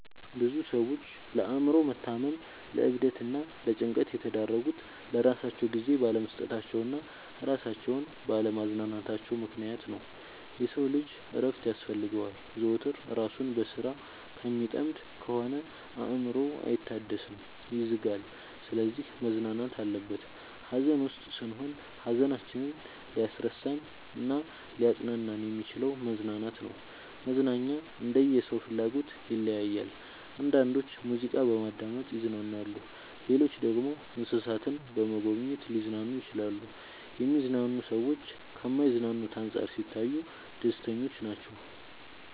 ብዙ ሰዎች ለአእምሮ መታመም ለዕብደት እና ለጭንቀት የተዳረጉት ለራሳቸው ጊዜ ባለመስጠታቸው እና እራሳቸውን ባለ ማዝናናታቸው ምክንያት ነው። የሰው ልጅ እረፍት ያስፈልገዋል። ዘወትር እራሱን በስራ ከሚጠምድ ከሆነ አእምሮው አይታደስም ይዝጋል። ስለዚህ መዝናናት አለበት። ሀዘን ውስጥ ስንሆን ሀዘናችንን ሊያስረሳን እናሊያፅናናን የሚችለው መዝናናት ነው። መዝናናኛ እንደየ ሰው ፍላጎት ይለያያል። አንዳንዶች ሙዚቃ በማዳመጥ ይዝናናሉ ሌሎች ደግሞ እንሰሳትን በመጎብኘት ሊዝናኑ ይችላሉ። የሚዝናኑ ሰዎች ከማይዝናኑት አንፃር ሲታዩ ደስተኞች ናቸው።